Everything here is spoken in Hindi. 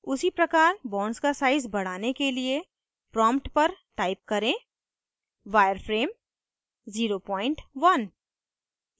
उसी प्रकार bonds का size बढ़ाने के लिए prompt पर type करें wireframe 01